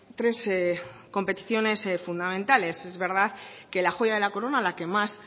tres competiciones fundamentales es verdad que la joya de la corona la que más